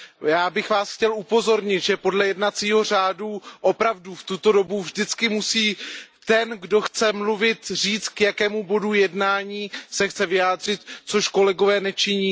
Já bych Vás chtěl upozornit, že podle jednacího řádu opravdu v tuto dobu vždycky musí ten, kdo chce mluvit, říct, k jakému bodu jednání se chce vyjádřit, což kolegové nečiní.